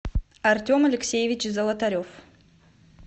артем алексеевич золотарев